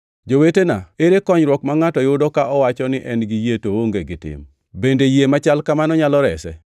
Jowetena, ere konyruok ma ngʼato yudo ka owacho ni en gi yie to oonge gi tim? Bende yie machal kamano nyalo rese?